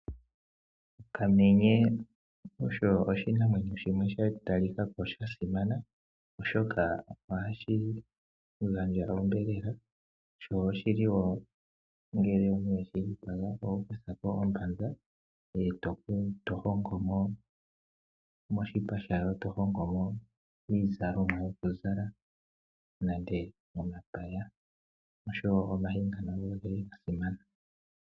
Okamenye osho oshinamwenyo shimwe sha talika ko sha simana oshoka ohashi gandja onyama na oshili wo ngele weshi dhipaga oho kuthako ombanza, moshipa shako ngoye to longo mo iizalomwa yokuzala ngashi omapaya.